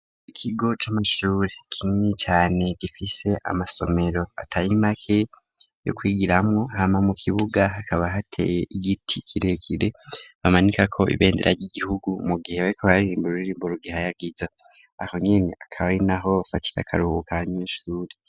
Ikigo c'amashuri kinini cane gifise amasomero atayimake yo kwigira hamwo hama mu kibuga hakaba hateye igiti kirekire bamanika ko ibendera ry'igihugu mu gihe bariko barririmbuw ue ruririmbo urugihayagiza aho nyene akaba ari na ho bafatira akaruhu ka nyinshuri.